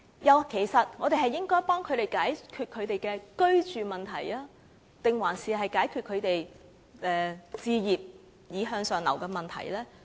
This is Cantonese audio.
我們其實應該幫助市民解決居住問題，還是幫助他們置業從而向上流呢？